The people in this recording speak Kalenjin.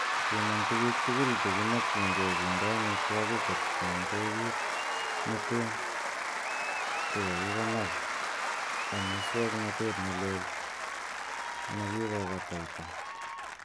Piman tugul tuguk chekimokyinge kinde amitwogik kotienge kit neten che kikikonoor en muswoknotet ne leel chekikobataita.